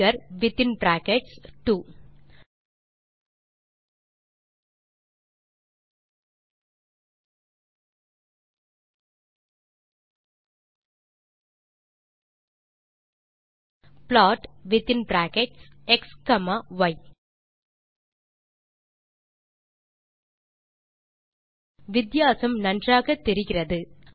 figure within brackets 2 plot within brackets x comma y வித்தியாசம் நன்றாகத் தெரிகிறது